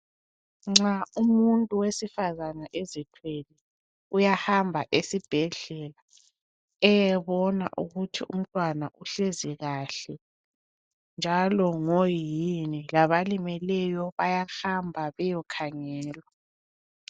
Nxa umuntu wesifazana ezithwele uyahamba esibhedlela eyebona ukuthi umntwana uhlezi kahle njalo ngoyini. Labalimeleyo bayahamba beyekhangelwa.